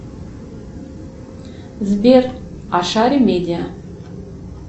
сбер а шар медиа